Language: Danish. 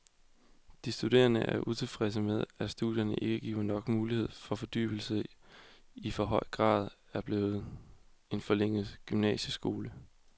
De studerende er utilfredse med, at studierne ikke giver nok mulighed for fordybelse og i for høj grad er blevet en forlænget gymnasieskole.